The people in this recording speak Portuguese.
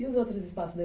E os outros espaços da